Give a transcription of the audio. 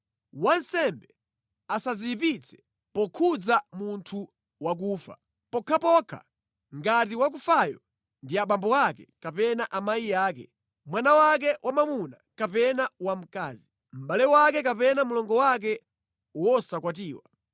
“ ‘Wansembe asadziyipitse pokhudza munthu wakufa, pokhapokha ngati wakufayo ndi abambo ake kapena amayi ake, mwana wake wamwamuna kapena wamkazi, mʼbale wake kapena mlongo wake wosakwatiwa.